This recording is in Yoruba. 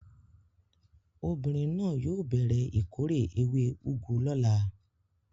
Obìnrin náà yóò bẹ̀rẹ̀ ìkórè ewé úgú lọ́la.